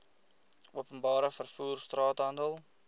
openbare vervoer straathandel